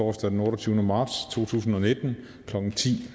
torsdag den otteogtyvende marts to tusind og nitten klokken ti